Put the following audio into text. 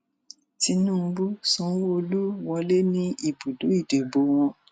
tinubu sanwóoru wọlé ní ibùdó ìdìbò wọn